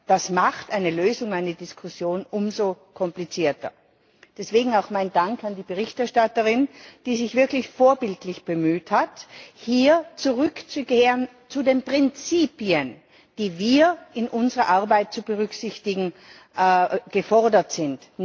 Das macht eine Lösung, eine Diskussion umso komplizierter. Deswegen auch mein Dank an die Berichterstatterin, die sich wirklich vorbildlich bemüht hat, hier zu den Prinzipien zurückzukehren, die wir in unserer Arbeit zu berücksichtigen gefordert sind.